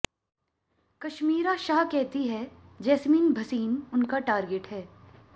कश्मीरा शाह कहती हैं जैस्मीन भसीन उनका टारगेट हैं